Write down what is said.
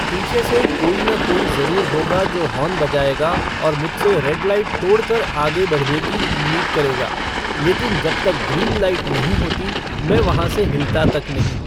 पीछे से कोई न कोई ज़रूर होगा जो हॉर्न बजाएगा और मुझसे रेड लाइट तोड़ कर आगे बढऩे की उम्मीद करेगा लेकिन जब तक ग्रीन लाइट नहीं होती, मैं वहां से हिलता तक नहीं।